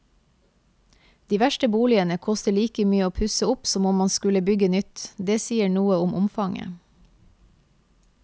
De verste boligene koster like mye å pusse opp som om man skulle bygge nytt, det sier noe om omfanget.